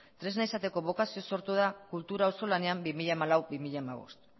tresna izateko sortzeko bokazioz sortu da kultura auzolanean bi mila hamalau bi mila hamabost